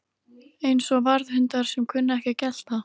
Eins og varðhundar sem kunna ekki að gelta